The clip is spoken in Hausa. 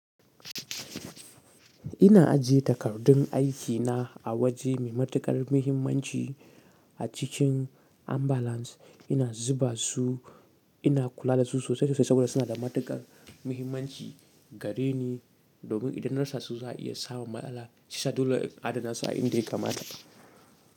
Ina ajiye takardun aikina a waje mai matuƙar muhimmanci a cikin ambalans. Ina zuba su, ina kula da su sosai da sosai saboda suna da matuƙar muhimmanci gare ni domin idan na rasa su za a iya sa mun matsala shi yasa. Dole in adana su a inda ya kamata.